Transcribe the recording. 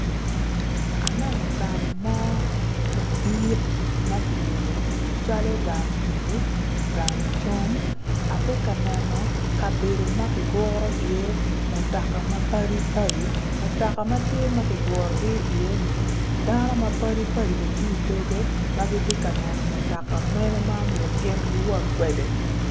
Aneo gang mo madit ma kiyubo calo gang bedo, gang cam ati ka neno kabedo ma kiguro iye mutoka mapadipadi mutoka ma tye ma kigurogi iye-ni dano mapadipadi bene tye i dogge ma giti ka neno mutoka mene ma omyero giwot kwede